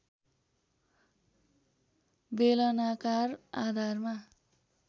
बेलनाकार आधारमा